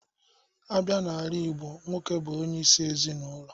A bịa n'ala igbo, nwoke bụ onyeisi ezinaụlọ.